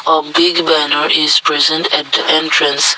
a big banner is present at the entrance.